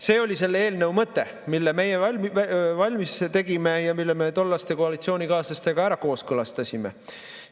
See oli selle eelnõu mõte, mille meie valmis tegime ja mille me tollaste koalitsioonikaaslastega kooskõlastasime.